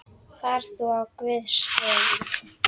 Far þú á Guðs vegum.